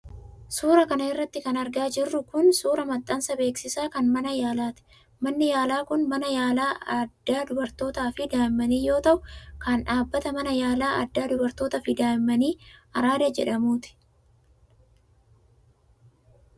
Suura kana irratti kan argaa jirru kun, suura maxxansa beeksisaa kan mana yaalaati. Manni yaalaa kun, mana yaalaa addaa dubartootaa fi daa'immanii yoo ta'u, kan dhaabbata Mana Yaalaa Addaa Dubartootaa fi Daa'immanii Araadaa jedhamuuti.